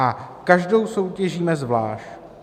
A každou soutěžíme zvlášť.